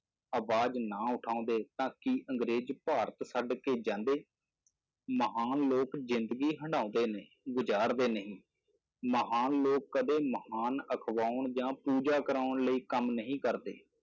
ਆਵਾਜ਼ ਨਾ ਉਠਾਉਂਦੇ ਤਾਂ ਕੀ ਅੰਗਰੇਜ਼ ਭਾਰਤ ਛੱਡ ਕੇ ਜਾਂਦੇ, ਮਹਾਨ ਲੋਕ ਜ਼ਿੰਦਗੀ ਹੰਡਾਉਂਦੇ ਨਹੀਂ, ਗੁਜ਼ਾਰਦੇ ਨਹੀਂ, ਮਹਾਨ ਲੋਕ ਕਦੇ ਮਹਾਨ ਅਖਵਾਉਣ ਜਾਂ ਪੂਜਾ ਕਰਵਾਉਣ ਲਈ ਕੰਮ ਨਹੀਂ ਕਰਦੇ।